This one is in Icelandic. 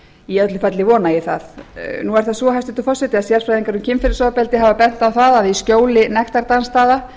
í öllu falli vona ég það nú er það svo hæstvirtur forseti að sérfræðingar um kynferðisofbeldi hafa bent á að í skjóli nektardansstaða